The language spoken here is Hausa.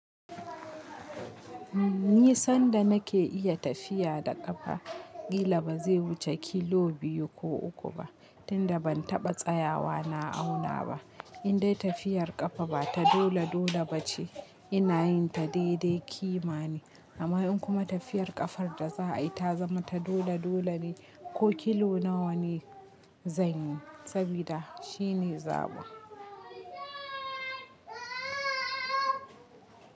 Ni sanda nake iya tafiya da ƙafa kila ba zai wuce kilo biyu ko uku ba tunda ban taɓa tsayawa na auna ba. In dai tafiyar ƙafa ba ta dole dole ba ce ina yin ta daidai ƙima ne. Amma in kuma tafiyar ƙafar da za a yi ta zama ta dole dole ne ko kilo nawa ne zanyi sabida shine zaɓi.